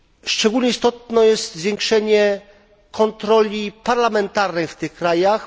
Szczególnie istotne jest zwiększenie kontroli parlamentarnej w tych krajach.